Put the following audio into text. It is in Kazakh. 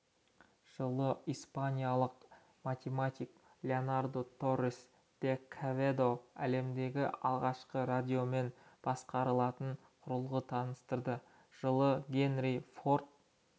жылы испаниялық математик леонардо торес де кеведо әлемдегі алғашқы радиомен басқарылатын құрылғы таныстырды жылы генри форд